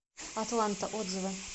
атланта отзывы